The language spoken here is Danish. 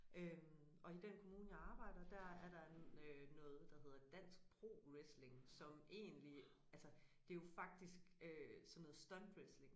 Øh og i den kommune jeg arbejder der er der øh noget der hedder dansk pro wrestling som egentlig altså det jo faktisk øh sådan noget stuntwrestling